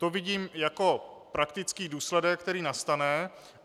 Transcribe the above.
To vidím jako praktický důsledek, který nastane.